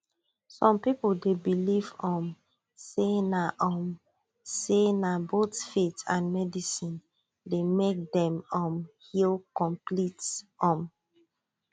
some people dey believe um say na um say na both faith and medicine dey make dem um heal complete um